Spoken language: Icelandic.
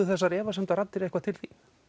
þessar efasemdaraddir eitthvað til